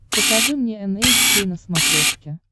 покажи мне эн эйч кей на смотрешке